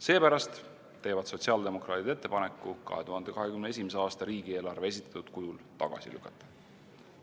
Seepärast teevad sotsiaaldemokraadid ettepaneku 2021. aasta riigieelarve esitatud kujul tagasi lükata.